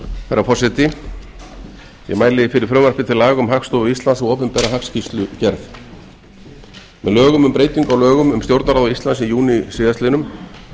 herra forseti ég mæli fyrir frumvarpi til laga um hagstofu íslands og opinbera hagskýrslugerð með lögum um breytingu á lögum um stjórnarráð íslands í júní síðastliðinn